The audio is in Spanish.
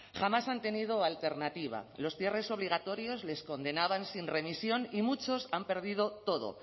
jamás han tenido alternativa los cierres obligatorios les condenaban sin remisión y muchos han perdido todo